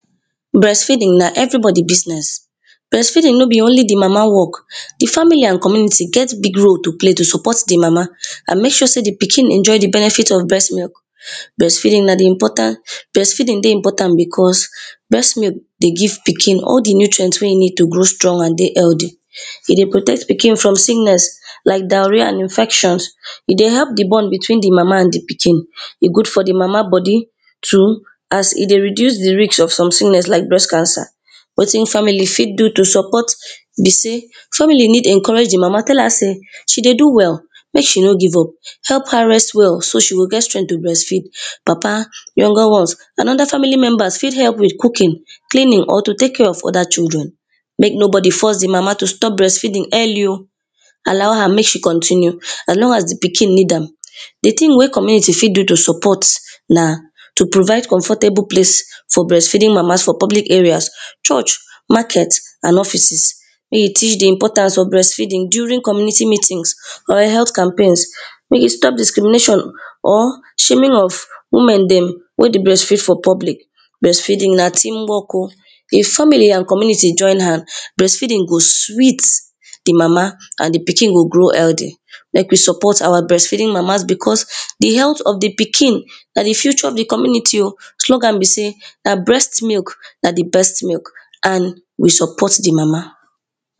breastfeeding na everybody business breastfeeding, breastfeeding nor be only di mama work di family and community get big role to play to support the mama and make sure sey di pikin enjoy di benefits of breast milk. breastfeeding na di important, breastfeeding dey important because breastmilk dey give pikin all di nutrients wey e need to grow strong and dey health. e dey protect pikin from sickness, like diarrhea and infections e dey help di bond between di mama and di pikin, e good for di mama body too, as e dey reduce di risk of some sickness like breast cancer. wetin family fit do to support be sey, family need encourage di mama tell her sey she dey do well, mek she nor give up. help her rest well so she go get strength to breastfeed. papa, younger ones and other family members fit help with cooking, cleaning or to take care of other children. make nobody force di mama to stop breastfeeding early oh, allow her make she continue as long as di pikin need am, di thing wey community fit do to support na; to provides comfortable place for breastfeeding mamas for public areas, church, market and offices. make e teach di importance of breastfeeding during community meetings or health campaigns, make e stop discrimination or shaming of women dem wey dey breastfeed for public. breastfeeding na team work oh, if family and community join hand breastfeeding go sweet. di mama and di pikin go grow healthy. make we support our breastfeeding mamas because di health of di pikin na di future of di community oh, slogan be sey na breastmilk na di best milk and we support di mama.